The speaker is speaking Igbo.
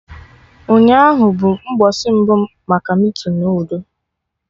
Ụnyaahụ bụ mgbọsị mbụ maka meetinu udo